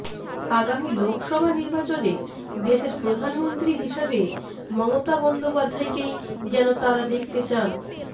আগামী লোকসভা নির্বাচনে দেশের প্রধানমন্ত্রী হিসাবে মমতাবন্দোপাধ্যায়কেই যেন তাঁরা দেখতে চান